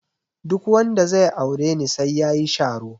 Duk wanda zai aure ni sai yayi sharo.